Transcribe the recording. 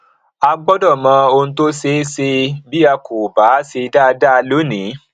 a gbọdọ mọ ohun tó ṣeé ṣe bí a kò bá ṣe dáadáa lónìí